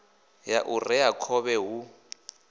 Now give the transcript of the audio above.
ya u rea khovhe hu